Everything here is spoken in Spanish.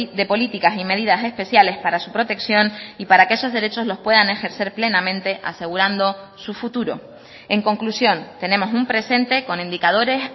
de políticas y medidas especiales para su protección y para que esos derechos los puedan ejercer plenamente asegurando su futuro en conclusión tenemos un presente con indicadores